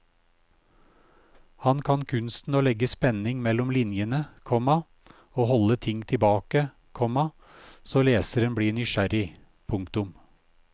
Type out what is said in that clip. Han kan kunsten å legge spenning mellom linjene, komma å holde ting tilbake, komma så leseren blir nysgjerrig. punktum